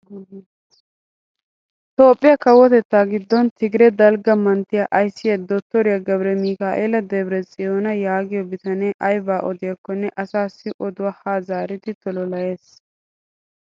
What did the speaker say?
Toophphiyaa kawotettaa giddon tigire dalgga manttiyaa ayssiyaa dottoriyaa gebiremikaela debre tsiyona yaagiyoo bitanee aybaa odiyaakonne asassi oduwaa haa zaaridi tololayees.